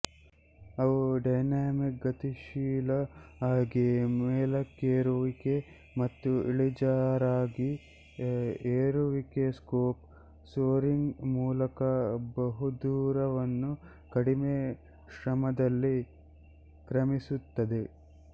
ಅವು ಡೈನಮಿಕ್ಗತಿಶೀಲ ಆಗಿ ಮೇಲಕ್ಕೇರುವಿಕೆ ಮತ್ತು ಇಳಿಜಾರಾಗಿ ಏರುವಿಕೆಸ್ಲೋಪ್ ಸೋರಿಂಗ್ ಮೂಲಕ ಬಹುದೂರವನ್ನು ಕಡಿಮೆ ಶ್ರಮದಲ್ಲಿ ಕ್ರಮಿಸುತ್ತವೆ